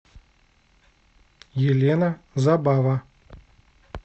елена забава